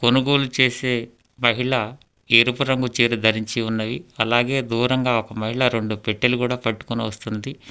కొనుగోలు చేసే మహిళ ఎరుపు రంగు చీర ధరించియున్నది అలాగే దూరంగా ఒక మహిళ రెండు పెట్టెలు కూడా పట్టుకొని వస్తున్నది.